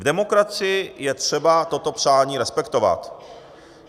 V demokracii je třeba toto přání respektovat.